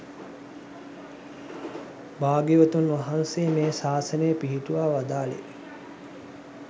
භාග්‍යවතුන් වහන්සේ මේ ශාසනය පිහිටුවා වදාළේ